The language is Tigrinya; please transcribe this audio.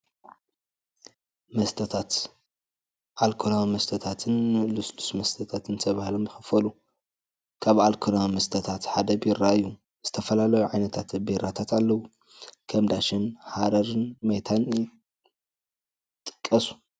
መስተታት፡- ኣልኮላዊ መስተታትን ልስሉስ መስተታትን ተባሂሎም ይኽፈሉ፡፡ ካብ ኣልኮላዊ መስተታት ሓደ ቢራ እዩ፡፡ ዝተፈላለዩ ዓይነታት ቢራታት ኣለው፡፡ ከም ዳሽን ፣ ሐረርን ሜታን ይጥቀሱ፡፡